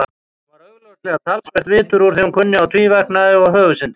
Hún var augljóslega talsvert vitur úr því hún kunni á tvíverknaði og höfuðsyndir.